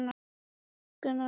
Ég er ekki hrædd um að ærast.